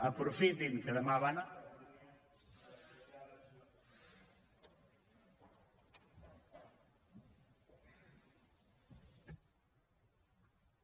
aprofitin que demà van a